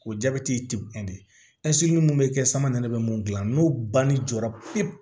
O jabɛti ti bɔn de ɛsipe mun be kɛ sama yɛrɛ be mun gilan n'o banni jɔra pewu